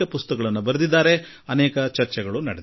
ಆ ಭಯಾನಕ ಕರಾಳ ಘಟನೆಯ ಕುರಿತು ಅನೇಕ ಕೃತಿಗಳನ್ನು ಬರೆಯಲಾಗಿದೆ